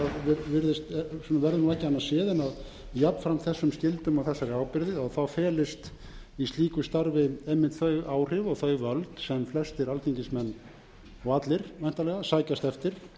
séð en jafnframt þessum skyldum og þessari ábyrgð felist í slíku starfi einmitt þau áhrif og þau völd sem flestir alþingismenn og allir væntanlega sækjast eftir